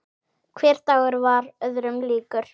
Hver dagur varð öðrum líkur.